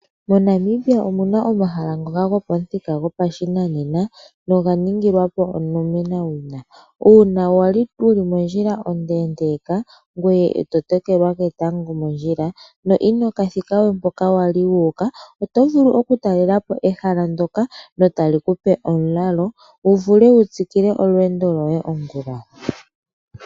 MoNamibia omu na omahala ngoka gopamuthika gopashinanena noga ningilwa po onomenawina, uuna wali wuli mondjila onde ndeeka ngoye eto tokelwa ketango mondjila no inoka thika we mpoka wali wuuka, oto vulu okutalela po ehala ndoka etali kupe omulalo wu vule wu tsikile olweendo ongula.